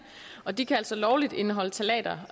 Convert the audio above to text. og de kan altså lovligt indeholde ftalater